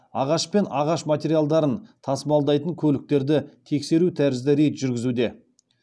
ағаш пен ағаш материалдарын тасымалдайтын көліктерді тексеру тәрізді рейд жүргізуде